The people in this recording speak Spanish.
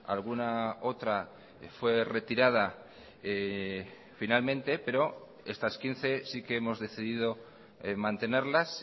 alguna otra fue retirada finalmente pero estas quince sí que hemos decidido mantenerlas